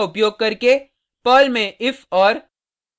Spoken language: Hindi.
पर्ल में if और